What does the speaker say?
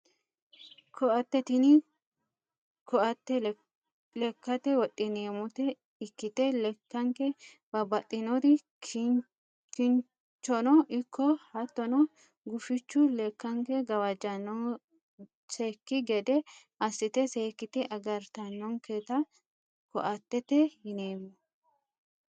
Koatte tini koatte lekkate wodhineemmota ikkite lekkanke babbaxxinori kinchono ikko hattono gufichu lekkanke gawajjannosekki gede assite seekkite agartannonketa koattete yineemmo